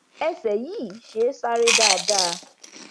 ẹsẹ yìí ṣé é sáré dáadáa